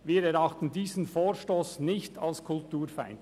Wir erachten diesen Vorstoss nicht als kulturfeindlich.